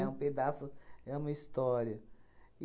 É um pedaço, é uma história.